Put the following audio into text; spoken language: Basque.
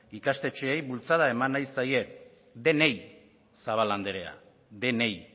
ikastetxeei bultzada eman nahi zaie denei zabala andrea denei